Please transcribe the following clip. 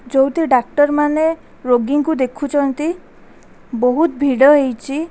ଯୋଉଠି ଡ଼ାକ୍ତରମାନେ ରୋଗୀଙ୍କୁ ଦେଖୁଚନ୍ତି ବୋହୁତ୍ ଭିଡ଼ ହେଇଚି।